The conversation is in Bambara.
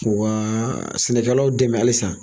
wa sɛnɛkɛ law dɛmɛ halisa.